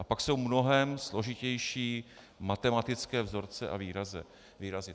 A pak jsou mnohem složitější matematické vzorce a výrazy.